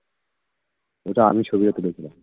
ওটা আমি ছবিটা তুলেছিলাম